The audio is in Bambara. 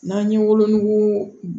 N'an ye wolonugu